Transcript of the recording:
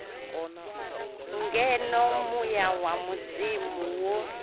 ngeno muya wa mudzimu wo